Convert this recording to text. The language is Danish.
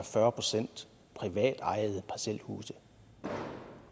fyrre procent privatejede parcelhuse og